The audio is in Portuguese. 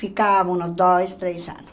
Ficávamos uns dois, três anos.